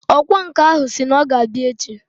Ọkwa nkà ahụ si na ọ ga-abịa echi